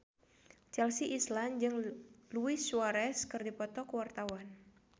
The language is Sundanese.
Chelsea Islan jeung Luis Suarez keur dipoto ku wartawan